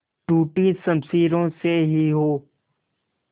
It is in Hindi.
टूटी शमशीरों से ही हो